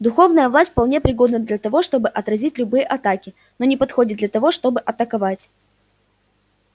духовная власть вполне пригодна для того чтобы отразить любые атаки но не подходит для того чтобы атаковать